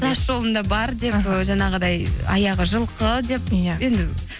тас жолында бар деп іхі ы жаңағыдай аяғы жылқы деп иә енді